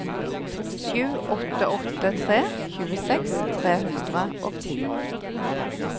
sju åtte åtte tre tjueseks tre hundre og ti